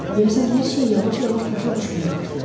Deyəsən hər şeyi yavaş-yavaş başa düşməyə başlayıram.